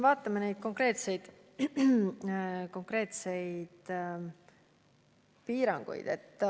Vaatame neid konkreetseid piiranguid.